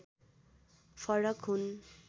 फरक हुन्